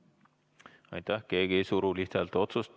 Keegi ei suru lihthäälteenamusega.